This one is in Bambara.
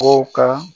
Kow ka